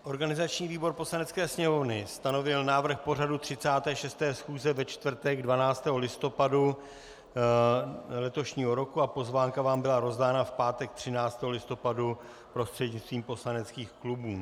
Organizační výbor Poslanecké sněmovny stanovil návrh pořadu 36. schůze ve čtvrtek 12. listopadu letošního roku a pozvánka vám byla rozdána v pátek 13. listopadu prostřednictvím poslaneckých klubů.